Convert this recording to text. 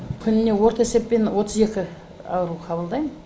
күніне орта есеппен отыз екі ауру қабылдаймын